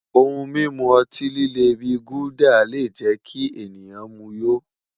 Ohun mimu ọti-lile bi Gulder le jẹ ki ẹnikan mu yó